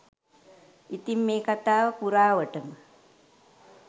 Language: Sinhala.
ඉතින් මේ කතාව පුරාවටම